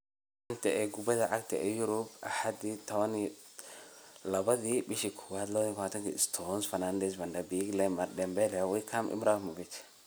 Xanta Kubadda Cagta Yurub Axad 12.01.2020: Stones, Fernandes, Van de Beek, Lemar, Dembele, Wickham, Ibrahimovic